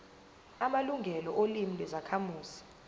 amalungelo olimi lwezakhamuzi